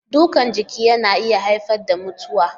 Dukan jiki na iya haifar da mutuwa.